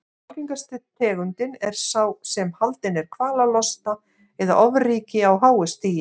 Algengasta tegundin er sá sem haldinn er kvalalosta eða ofríki á háu stigi.